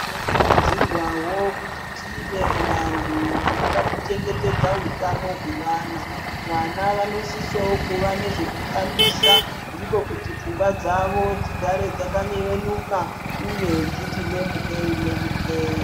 Tinokurudzirwavo kuti tive vandu, vanoda kuchengetedza hutano hwevana, vana vanosisavo kuva nezvekutambisa ndiko kuti pfungwa dzavo dzigare dzaka dzakanyevenuka uye kuti dziti lemuke lemuke.